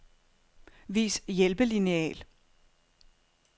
Vis hjælpelineal.